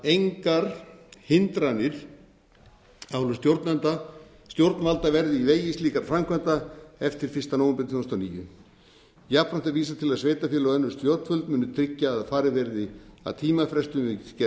engar hindranir af hálfu stjórnvalda verði í vegi slíkra framkvæmda eftir fyrsta nóvember tvö þúsund og níu jafnframt er vísað til þess að sveitarfélög og önnur stjórnvöld muni tryggja að farið verði að tímafrestum við gerð